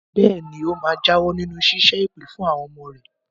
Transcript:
Bẹ́ẹ̀ ni, ó máa jáwọ́ nínú ṣíṣẹ́ èpè fún àwọn ọmọ rẹ̀.